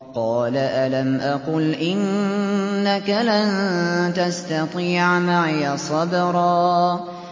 قَالَ أَلَمْ أَقُلْ إِنَّكَ لَن تَسْتَطِيعَ مَعِيَ صَبْرًا